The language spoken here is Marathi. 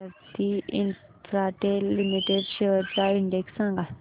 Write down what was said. भारती इन्फ्राटेल लिमिटेड शेअर्स चा इंडेक्स सांगा